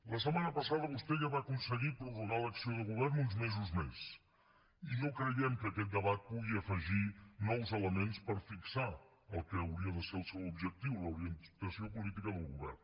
la setmana passada vostè ja va aconseguir prorrogar l’acció de govern uns mesos més i no creiem que aquest debat pugui afegir nous elements per fixar el que hauria de ser el seu objectiu l’orientació política del govern